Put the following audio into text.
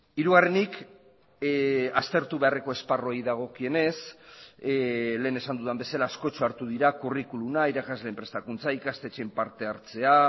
hirugarrenik aztertu beharreko esparruei dagokienez lehen esan dudan bezala askotxo hartu dira curriculuma irakasleen prestakuntza ikastetxeen partehartzea